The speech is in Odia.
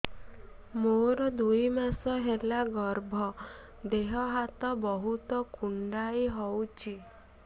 ମୋର ଦୁଇ ମାସ ହେଲା ଗର୍ଭ ଦେହ ହାତ ବହୁତ କୁଣ୍ଡାଇ ହଉଚି